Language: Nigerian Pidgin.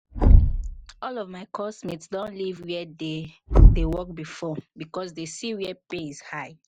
all of my coursemate don leave where they dey work before because they see where pay is high